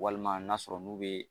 Walima n'a sɔrɔ n'u bɛ